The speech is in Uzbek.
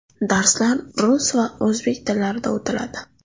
Darslar rus va o‘zbek tillarida o‘tiladi!